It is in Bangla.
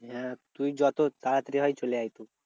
হ্যাঁ তুই যত তাড়াতাড়ি হয় চলে আয় তুই।